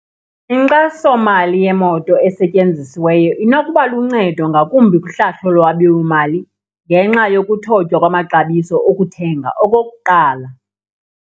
Inkxasomali yemoto esetyenzisiweyo inokuba luncedo, ngakumbi kuhlahlo lwabiwomali ngenxa yokuthotwya kwamaxabiso okuthenga okokuqala.